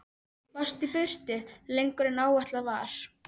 Varst í burtu lengur en áætlað var.